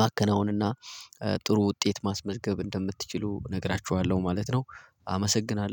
ማከናወንና ጥሩ ውጤት ማስመዝገብ እንደምትችሉ እነግራችኋለሁ ማለት ነው። አመሰግናለሁ